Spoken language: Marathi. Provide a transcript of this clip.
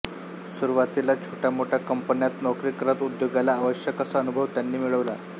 सुरुवातीला छोट्यामोठ्या कंपन्यांत नोकरी करत उद्योगाला आवश्यक असा अनुभव त्यांनी मिळविला